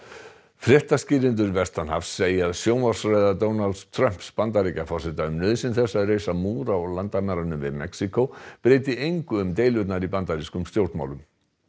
fréttaskýrendur vestanhafs segja að sjónvarpsræða Donalds Trumps Bandaríkjaforseta um nauðsyn þess að reisa múr á landamærunum við Mexíkó breyti engu um deilurnar í bandarískum stjórnmálum